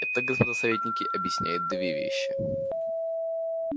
это господа советники объясняет две вещи